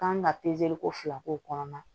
Kan ka ko fila k'o kɔnɔna